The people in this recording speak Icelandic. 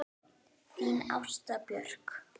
Þín Ásta Björk.